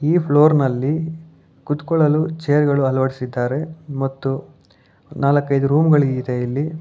ಈ ಫ್ಲೋರ್ ನಲ್ಲಿ ಕುತ್ತಕೊಳ್ಳಲು ಚೇರ್ ಗಳು ಅಳವಡಿಸಿದ್ದಾರೆ ಮತ್ತು ನಾಲ್ಕೈದು ರೂಮ್ ಗಳ ಇದೆ ಇಲ್ಲಿ.